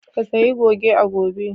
Ka sayi goge a gobe!